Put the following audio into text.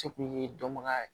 Se kun ye dɔnbaga ye